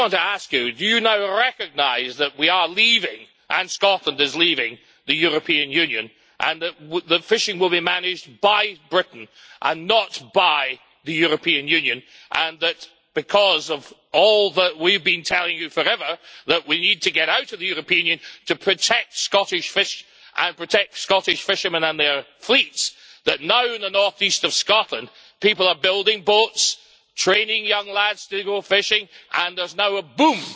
I just want to ask you do you now recognise that we are leaving and Scotland is leaving the European Union and that fishing will be managed by Britain and not by the European Union, and that, because of all that we have been telling you forever, that we need to get out of the European Union to protect Scottish fish and protect Scottish fishermen and their fleets, that now in the north east of Scotland, people are building boats, training young lads to go fishing and there is now a boom